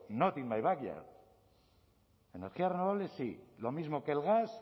not in my back yard energías renovables sí lo mismo que el gas